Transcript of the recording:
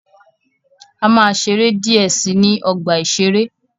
A máa ṣeré díẹ̀ si ní ọgbà-ìṣeré.